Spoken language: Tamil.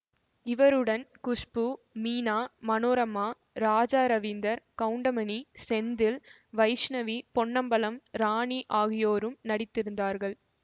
இவருடன் குஷ்பூ மீனா மனோரமா ராஜா ரவீந்தர் கவுண்டமணி செந்தில் வைஷ்ணவி பொன்னம்பலம் ராணி ஆகியோரும் நடித்து இருந்தார்கள்